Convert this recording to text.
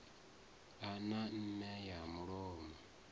a na meme ya mulomo